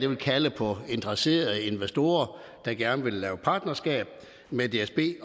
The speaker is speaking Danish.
vil kalde på interesserede investorer der gerne vil lave partnerskab med dsb i